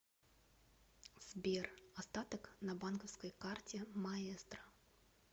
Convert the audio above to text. сбер остаток на банковской карте маэстро